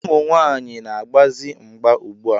Ụmụ nwaanyị na-agbazi mgba ugbua.